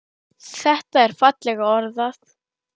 Þetta er fallega orðað.